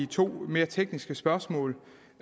to mere tekniske spørgsmål